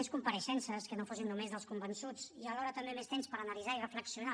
més compareixences que no fossin només dels convençuts i alhora també més temps per analitzar i reflexionar